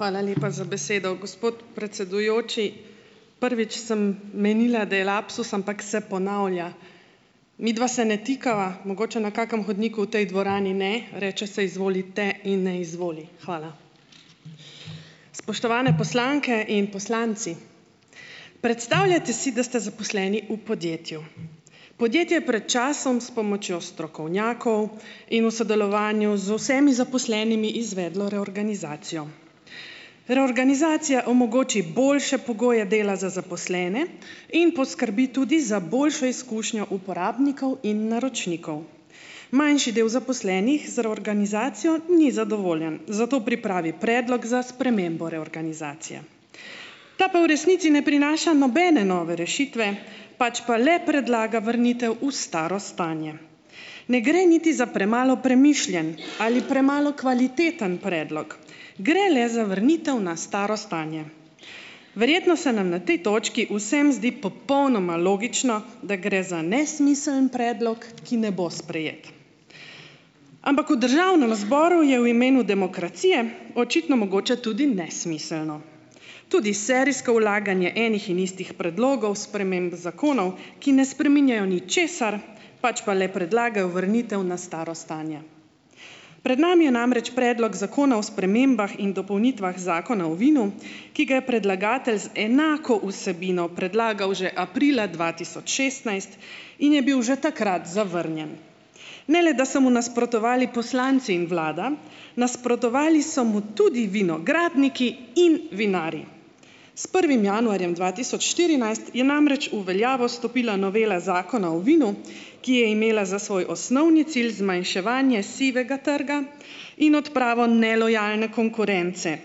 Hvala lepa za besedo, gospod predsedujoči. Prvič sem menila, da je lapsus, ampak se ponavlja. Midva se ne tikava, mogoče na kakem hodniku v tej dvorani, ne, reče "se izvolite" in ne "izvoli". Hvala. Spoštovane poslanke in poslanci! Predstavljate si, da ste zaposleni v podjetju. Podjetje je pred časom s pomočjo strokovnjakov in v sodelovanju z vsemi zaposlenimi izvedlo reorganizacijo. Reorganizacija omogoči boljše pogoje dela za zaposlene in poskrbi tudi za boljšo izkušnjo uporabnikov in naročnikov. Manjši del zaposlenih z reorganizacijo ni zadovoljen, zato pripravi predlog za spremembo reorganizacije. Ta pa v resnici ne prinaša nobene nove rešitve, pač pa le predlaga vrnitev v staro stanje. Ne gre niti za premalo premišljen ali premalo kvaliteten predlog, gre le za vrnitev na staro stanje. Verjetno se nam na tej točki vsem zdi popolnoma logično, da gre za nesmiseln predlog, ki ne bo sprejet, ampak v državnem zboru je v imenu demokracije očitno mogoče tudi nesmiselno. Tudi serijsko vlaganje enih in istih predlogov sprememb zakonov, ki ne spreminjajo ničesar, pač pa le predlagajo vrnitev na staro stanje. Pred nami je namreč predlog zakona o spremembah in dopolnitvah Zakona o vinu, ki ga je predlagatelj z enako vsebino predlagal že aprila dva tisoč šestnajst in je bil že takrat zavrnjen. Ne le da so mu nasprotovali poslanci in vlada, nasprotovali so mu tudi vinogradniki in vinarji. S prvim januarjem dva tisoč štirinajst je namreč v veljavo stopila novela zakona o vinu, ki je imela za svoj osnovni cilj zmanjševanje sivega trga in odpravo nelojalne konkurence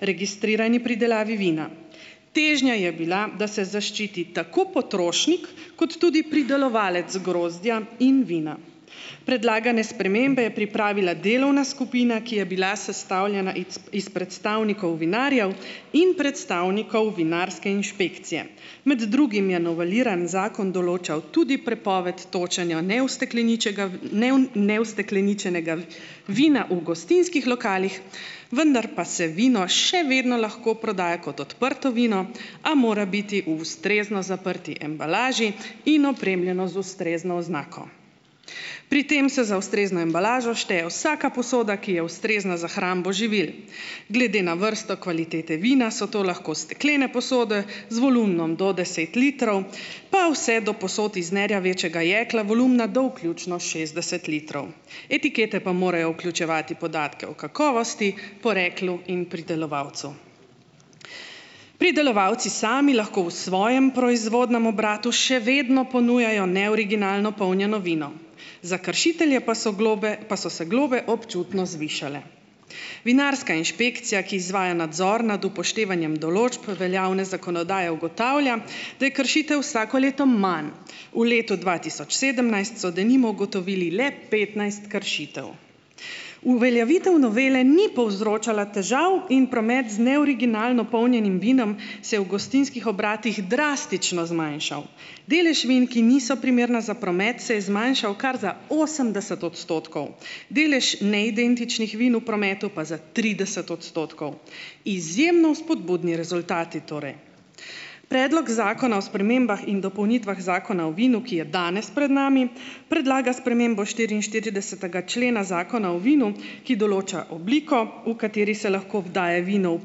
registrirani pridelavi vina. Težnja je bila, da se zaščiti tako potrošnik kot tudi pridelovalec grozdja in vina. Predlagane spremembe je pripravila delovna skupina, ki je bila sestavljena ic iz predstavnikov vinarjev in predstavnikov vinarske inšpekcije. Med drugim je noveliran zakon določal tudi prepoved točenja neustekleničenega neustekleničenega vina v gostinskih lokalih, vendar pa se vino še vedno lahko prodaja kot odprto vino, a mora biti v ustrezno zaprti embalaži in opremljeno z ustrezno oznako. Pri tem se za ustrezno embalažo šteje vsaka posoda, ki je ustrezna za hrambo živil. Glede na vrsto kvalitete vina so to lahko steklene posode z volumnom do deset litrov, pa vse do posod iz nerjavečega jekla volumna do vključno šestdeset litrov. Etikete pa morajo vključevati podatke o kakovosti, poreklu in pridelovalcu. Pridelovalci sami lahko v svojem proizvodnem obratu še vedno ponujajo neoriginalno polnjeno vino. Za kršitelje pa so globe pa so se globe občutno zvišale. Vinarska inšpekcija, ki izvaja nadzor nad upoštevanjem določb veljavne zakonodaje, ugotavlja, da je kršitev vsako leto manj. V letu dva tisoč sedemnajst so, denimo, ugotovili le petnajst kršitev. Uveljavitev novele ni povzročala težav in promet z neoriginalno polnjenim vinom se je v gostinskih obratih drastično zmanjšal. Delež vin, ki niso primerna za promet, se je zmanjšal kar za osemdeset odstotkov. Delež neidentičnih vin v prometu pa za trideset odstotkov. Izjemno vzpodbudni rezultati torej. Predlog zakona o spremembah in dopolnitvah zakona o vinu, ki je danes pred nami, predlaga spremembo štiriinštiridesetega člena zakona o vinu, ki določa obliko, v kateri se lahko daje vino v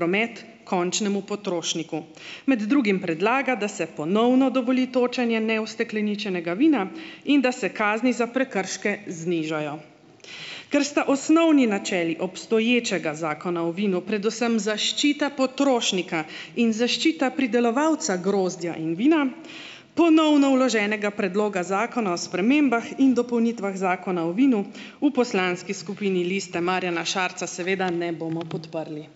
promet končnemu potrošniku. Med drugim predlagam, da se ponovno dovoli točenje neustekleničenega vina in da se kazni za prekrške znižajo. Ker sta osnovni načeli obstoječega zakona o vinu predvsem zaščita potrošnika in zaščita pridelovalca grozdja in vina, ponovno vloženega predloga zakona o spremembah in dopolnitvah zakona o vinu v poslanski skupini Lista Marjana Šarca seveda ne bomo podprli.